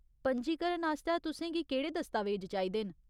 पंजीकरण आस्तै तुसें गी केह्ड़े दस्तावेज चाहिदे न?